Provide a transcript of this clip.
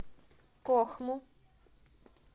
кохму